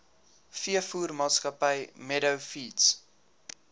veevoermaatskappy meadow feeds